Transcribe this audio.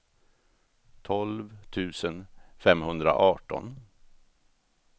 tolv tusen femhundraarton